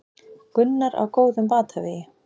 Gunnar á góðum batavegi